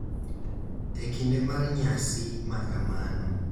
eEkinde mar nyasi ma kamano.